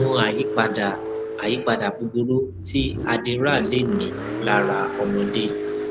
kí ni àwọn àyípadà àyípadà búburú tí adderall lè ní lára ọmọdé